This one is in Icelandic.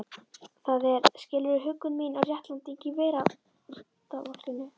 Það er, skilurðu, huggun mín og réttlæting í veraldarvolkinu.